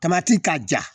Tamati ka ja